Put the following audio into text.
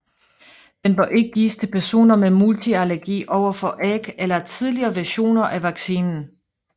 Den bør ikke gives til personer med multiallergi overfor æg eller tidligere versioner af vaccinen